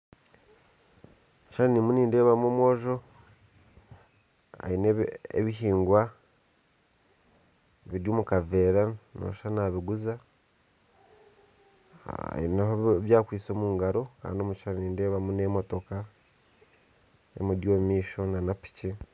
Omukishushani nindeebamu omwojo aine ebihiingwa biri omukavera nooshusha nabiguza aine ebi akwitse omu ngaro kandi nideebamu n'emotoka emuri omumaisho na piki.